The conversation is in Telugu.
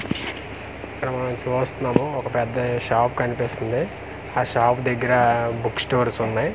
ఇక్కడ మనం చూస్తున్నాము ఒక పెద్ద షాప్ కనిపిస్తుంది ఆ షాప్ దగ్గర బుక్ స్టోర్స్ ఉన్నాయి.